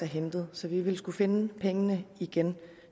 hentet så vi vil skulle finde pengene igen